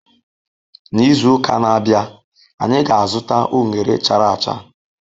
N'izu uka na-abịa, anyị ga-azụta unere chara acha.